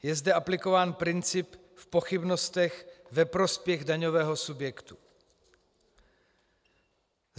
Je zde aplikován princip v pochybnostech ve prospěch daňového subjektu.